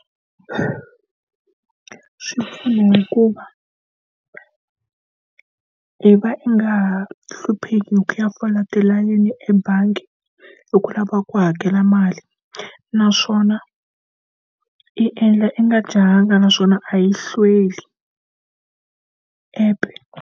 Swi pfuna hikuva i va i nga hlupheki hi ku ya fola tilayini ebangi hi ku lava ku hakela mali naswona i endla i nga jahanga naswona a yi hlweli app-e.